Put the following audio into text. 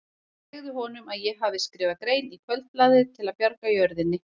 Segðu honum að ég hafi skrifað grein í Kvöldblaðið til að bjarga jörðinni.